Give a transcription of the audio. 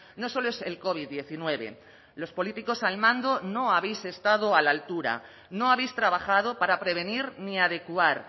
no solo es el covid diecinueve los políticos al mando no habéis estado a la altura no habéis trabajado para prevenir ni adecuar